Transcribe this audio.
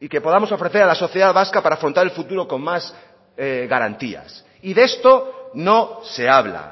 y que podamos ofrecer a la sociedad vasca para afrontar el futuro con más garantías y de esto no se habla